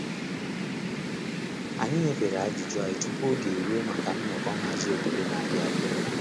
Anyị nyefere ajụjụ anyị tupu oge eruo maka nnọkọ nhazi obodo n'abịa abịa.